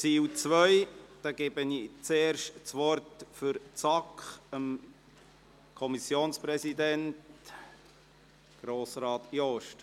Ich erteile das Wort zuerst für die SAK dem Kommissionspräsidenten, Grossrat Jost.